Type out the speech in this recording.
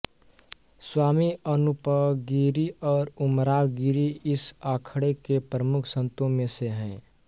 स्वामी अनूपगिरी और उमराव गिरी इस अखाड़े के प्रमुख संतों में से हैं